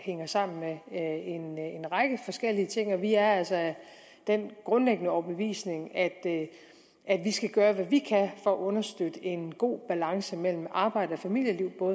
hænger sammen med en række forskellige ting og vi er altså af den grundlæggende overbevisning at vi skal gøre hvad vi kan for at understøtte en god balance mellem arbejds og familieliv